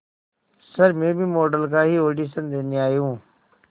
sir मैं भी model का ही ऑडिशन देने आई हूं